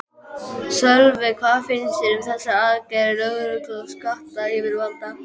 Sölvi, hvað finnst þér um þessar aðgerðir lögreglu og skattayfirvalda?